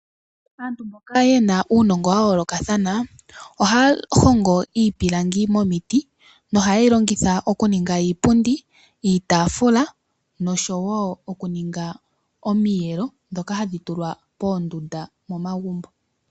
Aantu mboka yena uunongo wa yoolokathana ohaya hongo iipilangi momiti . Nohaye yi longitha okuninga iipundi , iitaafula nosho woo oku ninga omiyelo ndhoka hadhi tulwa poondunda momagumbo.